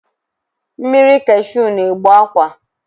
Mmiri kashụ na-egbu akwa